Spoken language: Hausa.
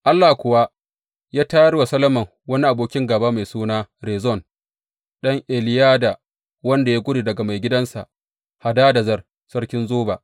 Allah kuwa ya tayar wa Solomon wani abokin gāba, mai suna Rezon, ɗan Eliyada, wanda ya gudu daga maigidansa, Hadadezer sarkin Zoba.